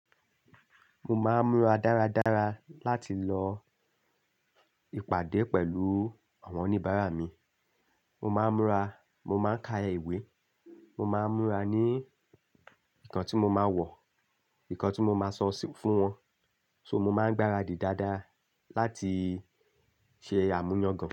Mo máa ń múra dáradára láti lọ ìpàdé pẹ̀lú àwọn oníbàárà mi. Mo máa ń múra, mo máa ń ka iwe, mo máa ń múra ní ǹkan tí mo máa wọ̀, ǹkan tí mo máa sọ fún wọn. So mo máa ń gbáradì dáadáa láti ṣe àmúyàn gan.